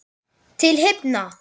Til himna!